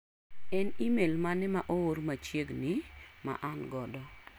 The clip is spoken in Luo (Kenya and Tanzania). En imel mane ma oor machiegni ma an godo?